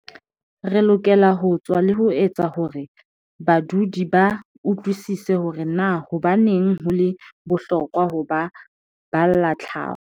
"Re lokela ho tswa le ho etsa hore badudi ba utlwisise hore na hobaneng ho le bohlokwa ho ba balla tlhaho."